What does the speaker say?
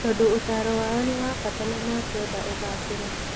Tondũ ũtaaro wao nĩ wa bata na makwenda ũgaacĩre.